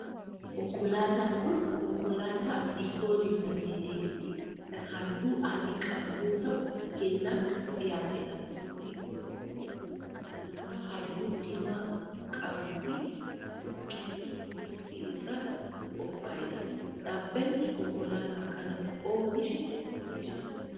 Konkolaataan kun, konkolaataa diikooriin bareedee fi kan haalluu adii qabu yoo ta'u ,kennaaf kan dhihaateedha. Diikooriin kun, daraaraa haalluu diimaa qabuu fi baala biqiltuu meexxii irraa kan qophaa'eedha. Dhaabbanni konkolaataa kana oomishe maal jedhama?